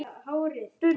Er það eitthvað komið?